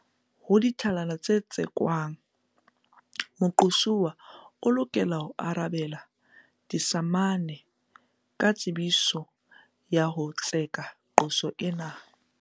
Ho ditlhalano tse tsekwang, moqosuwa o lokela ho arabela disamane ka tsebiso ya ho tseka qoso ena.